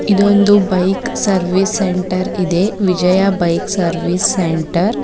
ಇದು ಒಂದು bike service centre ಇದೆ ವಿಜಯ ಬೈಕ್ ಸರ್ವಿಸ್ ಸೆಂಟರ್ .